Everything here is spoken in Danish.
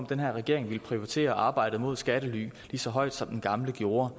den her regering prioriterer arbejdet mod skattely lige så højt som den gamle gjorde